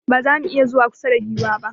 Ba za mu iya zuwa kusa da giwar ba.